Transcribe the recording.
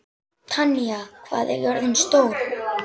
Tanya, hvað er jörðin stór?